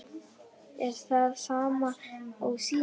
Er það sama og síðast?